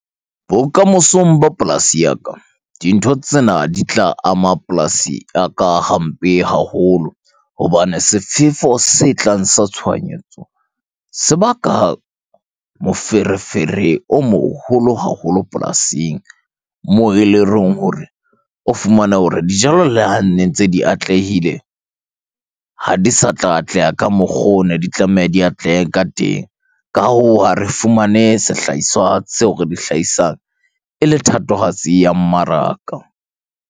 Bokamosong ba polasi ya ka, dintho tsena di tla ama polasi ya ka hampe haholo. Hobane sefefo se tlang sa tshohanyetso, se baka moferefere o moholo haholo polasing. Moo eleng hore o fumane hore dijalo le hane ntse di atlehile, ha di sa tla atleha ka mokgo ne di tlameha di atlehe ka teng. Ka hoo, ha re fumane sehlaiswa seo re di hlahisang ele thatohatsi ya mmaraka.